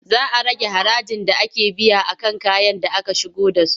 Za a rage harajin da ake biya a kan kayan da aka shigo da su.